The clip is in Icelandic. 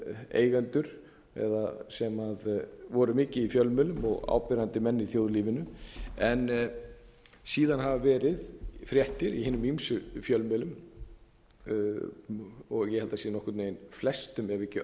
eigendur eða sem voru mikið í fjölmiðlum og áberandi menn í þjóðlífinu en síðan hafa verið fréttir í hinum ýmsu fjölmiðlum ég held að sé nokkurn veginn flestum ef